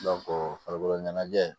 farikolo ɲɛnajɛ